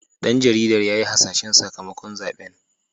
Dan jaridar ya yi hasashen sakamakon zaben.